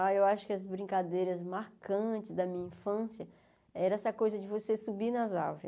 Ah, eu acho que as brincadeiras marcantes da minha infância era essa coisa de você subir nas árvores.